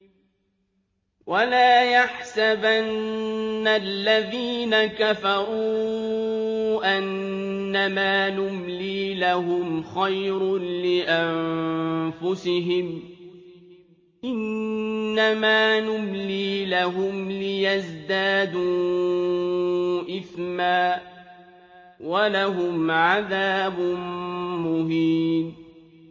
وَلَا يَحْسَبَنَّ الَّذِينَ كَفَرُوا أَنَّمَا نُمْلِي لَهُمْ خَيْرٌ لِّأَنفُسِهِمْ ۚ إِنَّمَا نُمْلِي لَهُمْ لِيَزْدَادُوا إِثْمًا ۚ وَلَهُمْ عَذَابٌ مُّهِينٌ